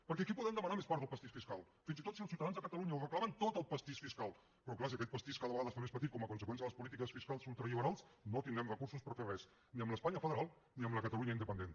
perquè aquí podem demanar més part del pastís fiscal fins i tot si els ciutadans de catalunya ho reclamen tot el pastís fiscal però clar si aquest pastís cada vegada es fa més petit com a conseqüència de les polítiques fiscals ultraliberals no tindrem recursos per fer res ni amb l’espanya federal ni amb la catalunya independent